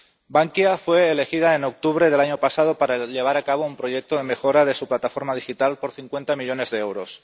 Bankia fue elegida en octubre del año pasado para llevar a cabo un proyecto de mejora de su plataforma digital por 50 millones de euros.